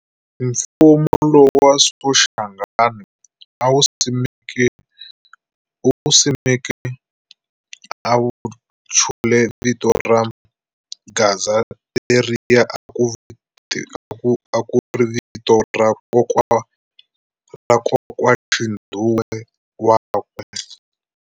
Mfumo lowa Soshangana a wu simekeke u wu chule vito ra Gaza leria ku ri vito ra kokwaxindhuwe wakwe.